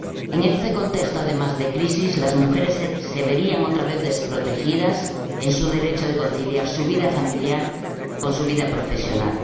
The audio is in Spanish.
En este contexto de crisis, además, las mujeres se verían otra vez desprotegidas en su derecho de conciliar su vida familiar con su vida profesional.